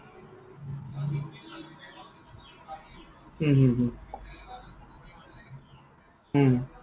হম হম হম উম